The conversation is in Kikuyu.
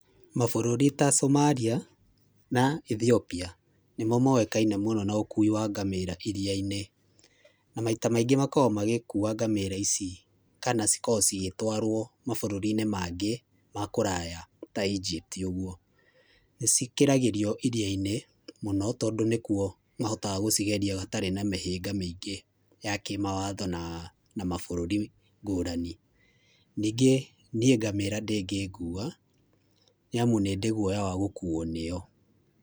Mabũrũri ta Somalia na Ethiopia nĩmo moĩkaine mũno na ũkui wa ngamĩra iria-inĩ na maita maingĩ makoragwo magĩkua ngamĩra ici kana cikoragwo cigĩtwarwo mabũrũriinĩ maingĩ ma kũraya ya Egypt ũguo. Nĩ cigeragĩrio iriainĩ tondũ nĩ kuo gũtarĩ na mĩhĩnga mĩingĩ ya kĩmawatho na mabũrũri ngũrani, ningĩ niĩ ngamĩra ndĩngĩngua nĩ amu nĩ ndĩ guoya wa gũkuo nĩyo.